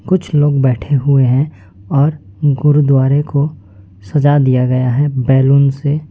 कुछ लोग बैठे हुए है और गुरुद्वारे को सजा दिया गया है बैलून से।